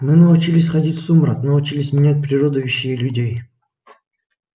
мы научились ходить в сумрак научились менять природу вещей и людей